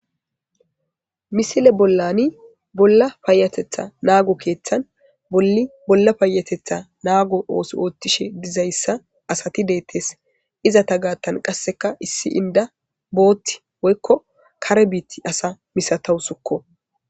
Misile bollani bolla paayatetha naago keeththan bolli bolla paayatetha naago ooso oothtishe dizayssa asati deettes iza ta gaattan qasseka issi inda bootti woykko kare biiti asa misatawu sukko